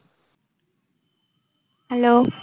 hello